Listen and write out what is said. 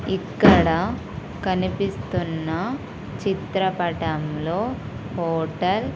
ఇక్కడ కనిపిస్తున్న చిత్రపటంలో హోటల్ --